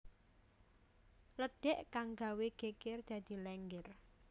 lédhék kang gawé gégér dadi Lénggér